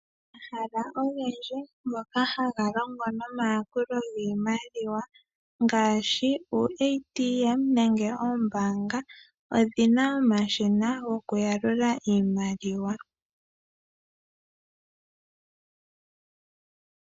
Omahala ogendji moka haga longo nomayakulo giimaliwa ngaashi; uuATM nenge oombaanga odhi na omashina gokuyalula iimaliwa.